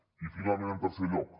i finalment en tercer lloc